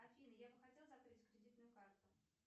афина я бы хотела закрыть кредитную карту